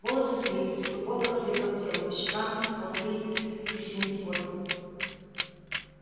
волосы слиплись футболка прилипла к телу по щекам ползли бисеринки пота